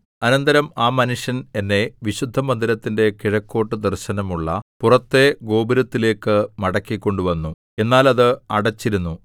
അനന്തരം ആ മനുഷ്യന്‍ എന്നെ വിശുദ്ധമന്ദിരത്തിന്റെ കിഴക്കോട്ടു ദർശനമുള്ള പുറത്തെ ഗോപുരത്തിലേക്കു മടക്കിക്കൊണ്ടുവന്നു എന്നാൽ അത് അടച്ചിരുന്നു